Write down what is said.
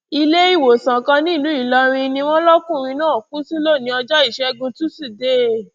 iléewòsàn kan nílùú ìlọrin ni wọn lọkùnrin náà kú sí lónìí ọjọ ìṣẹgun túṣídéé